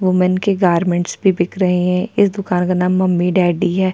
Woman की garments भी बिक रही है इस दुकान का नाम मम्मी डेडी है।